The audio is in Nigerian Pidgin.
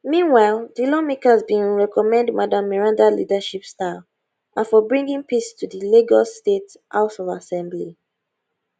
meanwhile di lawmakers bin commend madam meranda leadership style and for bringing peace to di lagos state house of assembly